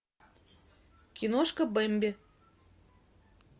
киношка бэмби